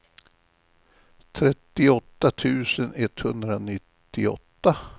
trettioåtta tusen etthundranittioåtta